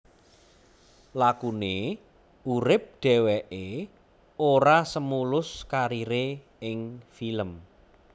Lakune urip dheweke ora semulus karire ing film